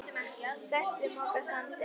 Flestir moka sandi.